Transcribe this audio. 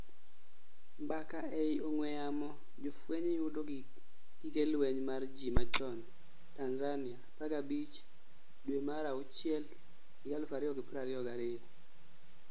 mbaka ei ong'weyamo jofueny yudo gige lweny mar ji machon Tanzania 15 due mar achiel 2022